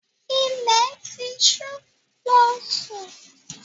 Ilẹ̀ ti ṣú, lọ́ sún!